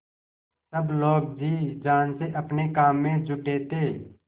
सब लोग जी जान से अपने काम में जुटे थे